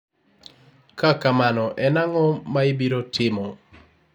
ka kamano, en ang'o maibiro timo?